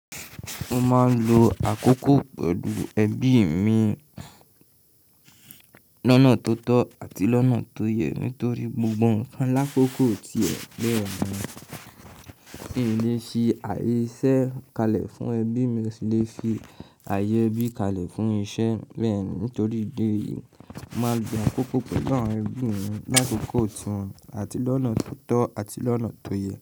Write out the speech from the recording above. Mo máa ń lo àkókò pẹ̀lú ẹbí mi lọnà tó tọ́ àti lọ́nà tó yẹ nítorí gbogbo nkan la kókó ti ẹ bẹẹni. Kì í lè ṣe àìṣẹ́ kalẹ̀ fún ẹbí mi, mo sì lè fi ààyè ẹbí kalẹ̀ fún iṣẹ́ bẹ́ẹ̀ ni. Nítorí ìdí èyí, mo máa n lo àkókò pẹ̀lú àwọn ẹbí mi lákòókò tiwon àti lọ́nà tó tọ́ àti lọ́nà tó yẹ.